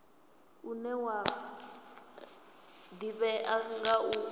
une wa ḓivhea nga u